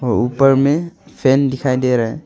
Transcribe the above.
ऊपर में फैन दिखाई दे रहा है।